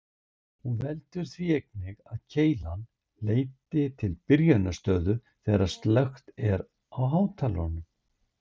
Hún veldur því einnig að keilan leiti til byrjunarstöðu þegar slökkt er á hátalaranum.